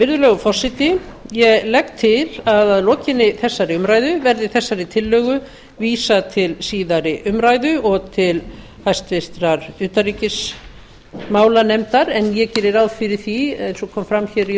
virðulegur forseti ég legg til að að lokinni þessari umræðu verði þessari tillögu vísað til síðari umræðu og til háttvirtrar utanríkismálanefndar en ég geri ráð fyrir því eins og kom fram í